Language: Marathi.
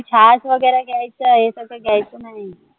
छाछ वाजगे ग्यायचंय तस घ्यायचं नाही.